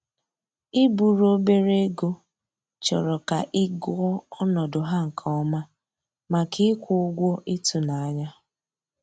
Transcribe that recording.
I buru obere ego chọrọ ka ị gụọ ọnọdụ ha nke ọma, maka ịkwụ ụgwọ ịtụnanya